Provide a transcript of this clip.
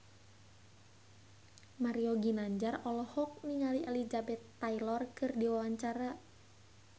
Mario Ginanjar olohok ningali Elizabeth Taylor keur diwawancara